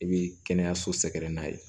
I bi kɛnɛyaso sɛgɛrɛ n'a ye